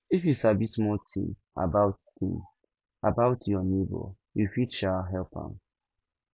if you sabi small tin about tin about your nebor you fit um help am